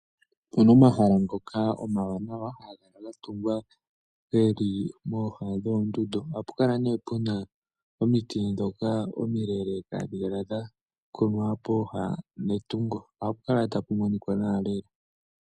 Opuna omahala ngoka omawanawa haga kala gatungwa pooha dhoondundu. Ohapu kala puna omiti ndhoka omileleka dha kunwa pooha nohapu kala tapu monika nawa lela.